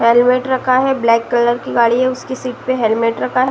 Helmet रखा है। Black colour की गाड़ी है। उसकी सीट पर हेलमेट रखा है।